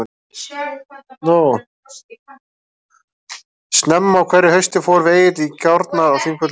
Snemma á hverju hausti förum við Egill í gjárnar á Þingvöllum.